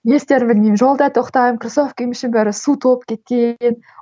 не істерімді білмеймін жолда тоқтаймын кроссовкиімнің іші су толып кеткен